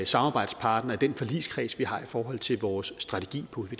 samarbejdspartner i den forligskreds vi har i forhold til vores strategi på